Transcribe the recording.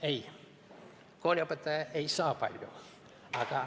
Ei, kooliõpetaja ei saa palju.